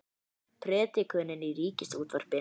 Predikunin í Ríkisútvarpinu